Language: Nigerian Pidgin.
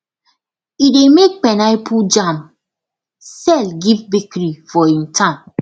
e dey make pineapple jam sell give bakery for hin town